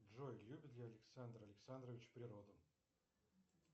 джой любит ли александр александрович природу